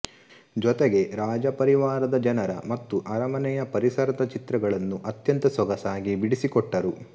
ಜೊತೆಗೆ ರಾಜಪರಿವಾರದ ಜನರ ಮತ್ತು ಅರಮನೆಯ ಪರಿಸರದ ಚಿತ್ರಗಳನ್ನೂ ಅತ್ಯಂತ ಸೊಗಸಾಗಿ ಬಿಡಿಸಿಕೊಟ್ಟರು